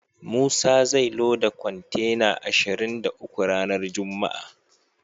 Musa zai loda kontena ashirin da uku ranar juma'a.